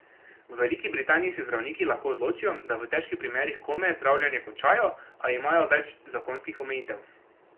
V Veliki Britaniji se zdravniki lahko odločijo, da v težkih primerih kome zdravljenje končajo, a imajo več zakonskih omejitev.